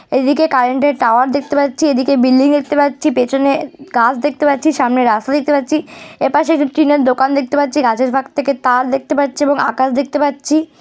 এদিকে কারেন্ট এর টাওয়ার দেখতে পাচ্ছি। এদিকে বিল্ডিং দেখতে পাচ্ছি। পেছনে এ গাছ দেখতে পাচ্ছি। সামনে রাস্তা দেখতে পাচ্ছি। এপাশে ফিফ টিনের দোকান দেখতে পাচ্ছি। গাছের ফাঁক থেকে তার দেখতে পাচ্ছি এবং আকাশ দেখতে পাচ্ছি।